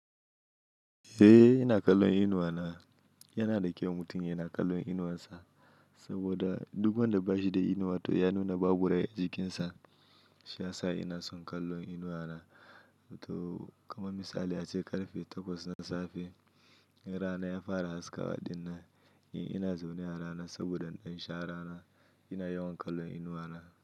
Eh ina kallon inuwa na. Yana da kyau mutum yana kallon inuwansa saboda duk wanda bashi da inuwa to ya nuna babu rai a jikinsa. Shi ya sa ina son kallon inuwa na. To kamar misali ace ƙarfe takwas na safe, in rana ya fara haskawa dinnan. In ina zaune a rana saboda in ɗan sha rana ina yawan kallon inuwa na.